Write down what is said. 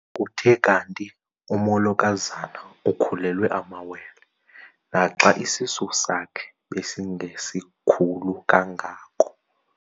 Kuthe kanti umolokazana ukhulelwe amawele naxa isisu sakhe besingesikhulu kangako.